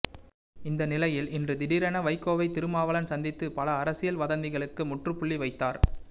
இந்த நிலையில் இன்று திடீரென வைகோவை திருமாவளவன் சந்தித்து பல அரசியல் வதந்திகளுக்கு முற்றுப்புள்ளி வைத்தார்